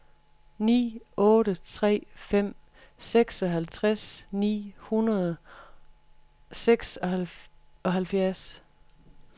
ni otte tre fem seksoghalvtreds ni hundrede og seksoghalvfjerds